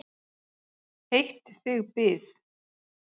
Heitt þig bið!